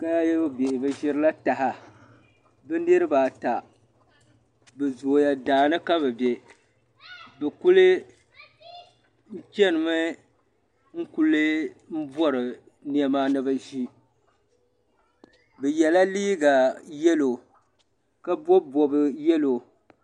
Kaayaayɔ bihi bɛ ʒirila taha bi niribi ata bɛ zooya daani ka bɛ be , n kuli chenimi n kuli bɔrila nema ni bi ʒi bɛ yala liiga yalɔw ka bɔbi bɔb yalɔw.